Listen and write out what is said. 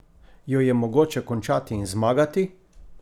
Jo je mogoče končati in zmagati?